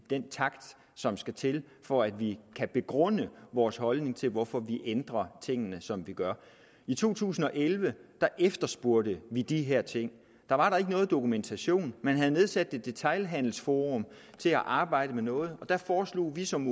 den takt som skal til for at vi kan begrunde vores holdning til hvorfor vi ændrer tingene som vi gør i to tusind og elleve efterspurgte vi de her ting da var der ikke noget dokumentation man havde nedsat et detailhandelsforum til at arbejde med noget og der foreslog vi som